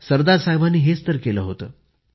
सरदार साहेबांनी हेच तर केले होते